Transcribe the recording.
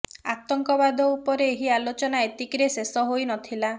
ଆତଙ୍କବାଦ ଉପରେ ଏହି ଆଲୋଚନା ଏତିକିରେ ଶେଷ ହୋଇ ନ ଥିଲା